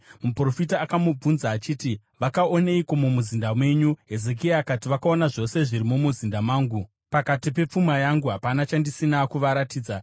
Muprofita akamubvunza achiti, “Vakaoneiko mumuzinda menyu?” Hezekia akati, “Vakaona zvose zviri mumuzinda mangu. Pakati pepfuma yangu hapana chandisina kuvaratidza.”